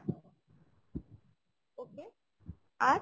আর ?